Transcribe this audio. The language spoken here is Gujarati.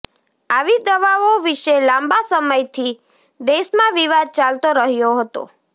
આવી દવાઓ વિશે લાંબા સમયથી દેશમાં વિવાદ ચાલતો રહ્યો હતો